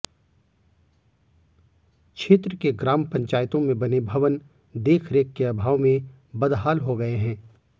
क्षेत्र के ग्राम पंचायतो में बने भवन देखरेख के अभाव में बदहाल हो गये है